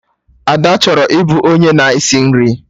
Ada chọrọ ịbụ onye na-esi nri